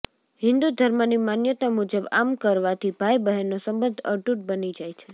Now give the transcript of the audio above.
હિંદુ ધર્મની માન્યતા મુજબ આમ કરવાથી ભાઈ બહેનનો સંબંધ અતૂટ બની જાય છે